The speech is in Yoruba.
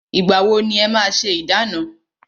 Ìgbà wọ ni e máa ṣé ìdána?